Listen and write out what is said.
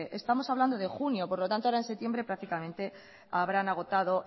estamos hablando de junio por lo tanto ahora en septiembre prácticamente habrán agotado